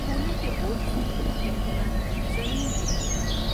پھولوں کے بوجھ سے ٹہنیاں زمین چوم رہی تھیں ۔